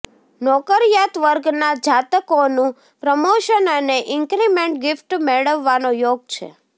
નોકરિયાતવર્ગના જાતકોનું પ્રમોશન અને increment gift મેળવવાનો યોગ છે